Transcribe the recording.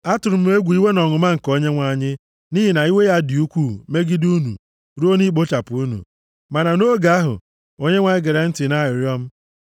Atụrụ m egwu iwe na ọnụma nke Onyenwe anyị, nʼihi na iwe ya dị ukwuu megide unu ruo na ikpochapụ unu. Ma nʼoge ahụ, Onyenwe anyị gere ntị nʼarịrịọ m.